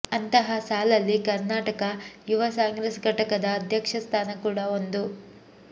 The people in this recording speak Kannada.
ಅಂತಹ ಸಾಲಲ್ಲಿ ಕರ್ನಾಟಕ ಯುವ ಕಾಂಗ್ರೆಸ್ ಘಟಕದ ಅಧ್ಯಕ್ಷ ಸ್ಥಾನ ಕೂಡ ಒಂದು